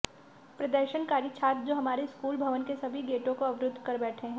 प्रदर्शनकारी छात्र जो हमारे स्कूल भवन के सभी गेटों को अवरुद्ध कर बैठे हैं